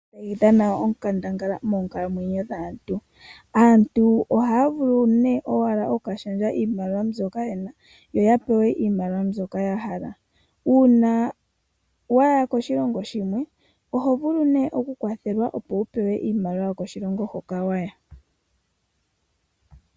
Iimaliwa ohayi dhana onkandangala moonkalamwenyo dhaantu. Aantu ohaya vulu nee owala oku ka shendja iimaliwa mbyoka yena yo ya pewe iimaliwa mbyoka ya hala. Uuna waya koshilongo shimwe oho vulu nee oku kwathelwa opo wu pewe iimaliwa yokoshilongo hoka waya.